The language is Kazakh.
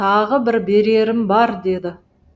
тағы бір берерім бар деді